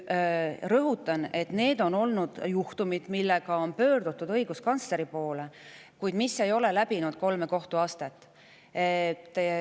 Rõhutan, et need on olnud juhtumid, millega on pöördutud õiguskantsleri poole, kuid mis ei ole läbinud kolme kohtuastet.